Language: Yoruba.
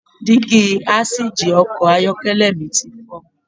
Dígí asìjì Ọkọ̀ ayọ́kẹ́lẹ̀ mi ti fọ.